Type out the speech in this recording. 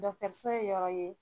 Dɔgɔtɔrɔso ye yɔrɔ ye